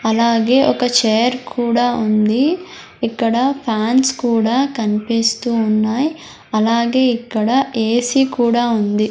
అలాగే ఒక చేర్ కుడా ఉంది ఇక్కడ ఫ్యాన్స్ కుడా కన్పిస్తూ ఉన్నాయ్ అలాగే ఇక్కడ ఎ సి కుడా ఉంది.